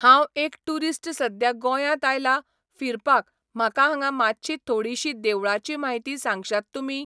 हांव एक टुरीस्ट सद्या गोंयात आयलां फिरपाक म्हाका हांगा मातशी थोडिशी देवळाची म्हायती सांगशात तुमी